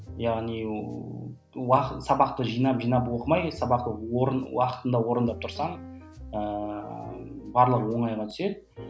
яғни сабақты жинап жинап оқымай сабақты уақытында орындап тұрсаң ыыы барлығы оңайға түседі